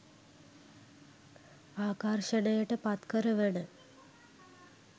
ආකර්ෂණයට පත්කරවන